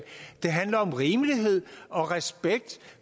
det handler om rimelighed og respekt